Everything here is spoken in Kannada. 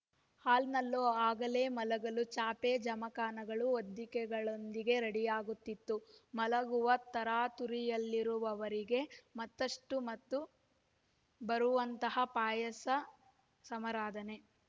ಹಾಲ್ನಲ್ಲೋ ಆಗಲೇ ಮಲಗಲು ಚಾಪೆಜಮಖಾನಗಳುಹೊದ್ದಿಕೆಗಳೊಂದಿಗೆ ರೆಡಿಯಾಗಿರುತ್ತಿತ್ತು ಮಲಗುವ ತರಾತುರಿಯಲ್ಲಿರುವವರಿಗೆ ಮತ್ತಷ್ಟುಮತ್ತು ಬರುವಂತಹ ಪಾಯಸ ಸಮರಾಧನೆ